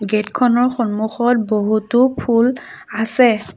Gate খনৰ সন্মুখত বহুতো ফুল আছে।